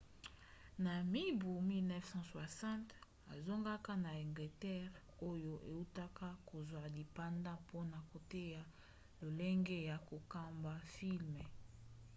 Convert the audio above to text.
na mibu 1960 azongaka na algerie oyo eutaka kozwa lipanda mpona koteya lolenge ya kokamba filme